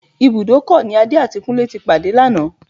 Ibùdókọ̀ ni Adé àti Kúnlé ti pàdé lánàá